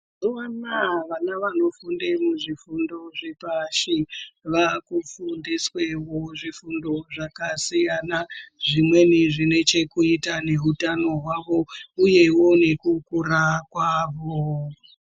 Mazuwanaa wana wanofunda muzvifundo zvepashi waakudundiswe zvifundo zvakasiyana zvimweni zvinechekuita nehutano hwawo uyewo nekukura kwawo.